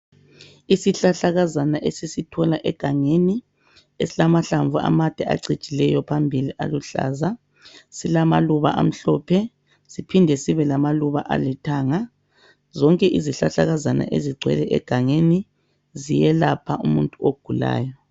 Isihlahla kazana ezitholakala egangeni esilamahlamvu amande acinjileyo phambili aluhlaza esilamaluba amhlophe siphinde sibelama Luba alithanga zonke izihlahla kazana ezingcwele egangeni ziyelapha umuntu ogulayo